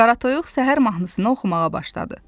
Qara toyuq səhər mahnısını oxumağa başladı.